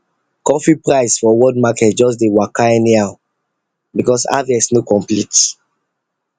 coffee price for world market just dey waka anyhow because harvest no complete